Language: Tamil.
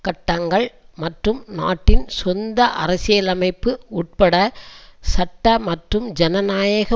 கட்டங்கள் மற்றும் நாட்டின் சொந்த அரசியலமைப்பு உட்பட சட்ட மற்றும் ஜனநாயக